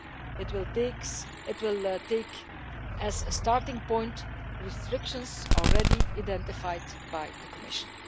It will take as a starting point restrictions already identified by the Commission.